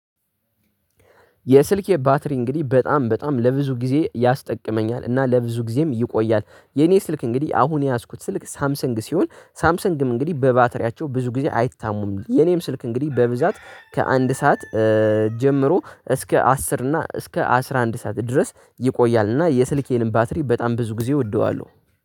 የስልኬ ባትሪ እንግዲህ በጣም በጣም ለብዙ ጊዜ ያስጠቅመኛል እና ለብዙ ጊዜም ይቆያል። የኔ ስልክ እንግዲህ አሁን የያዝኩት ስልክ ሳምሰንግ ሲሆን ሳምሰንግም እንግዲህ በባተሪያቸው ብዙ ጊዜ አይታሙም። የኔም ስልክ እንግዲህ በብዛት ከአንድ ሰዓት ጀምሮ እስከ አስር እና እስከ አስራ አንድ ሰዓት ድረስ ይቆያልና፤ የስልኬንም ባትሪ በጣም ብዙ ጊዜ እወደዋለሁ።